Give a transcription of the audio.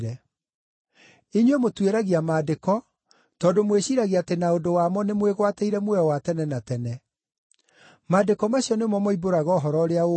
Inyuĩ mũtuĩragia Maandĩko tondũ mwĩciiragia atĩ na ũndũ wamo nĩmwĩgwatĩire muoyo wa tene na tene. Maandĩko macio nĩmo moimbũraga ũhoro ũrĩa ũngoniĩ,